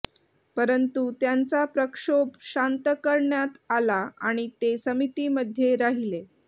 परंतु त्यांचा प्रक्षोभ शांत करण्यात आला आणि ते समितीमध्ये राहिले